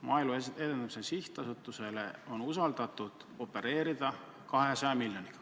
Maaelu Edendamise Sihtasutuse kätte on usaldatud 200 miljonit.